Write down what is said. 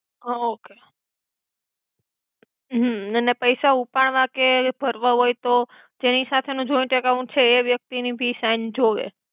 હા ઓકે હ અને પૈસા ઉપાડવા કે ભર્વા હોઇ તો જેનિ સાથે નુ જોઇંટ છે એ વ્યક્તિ ની ભી સાઇન જોવે